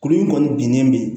Kuru in kɔni binnen de ye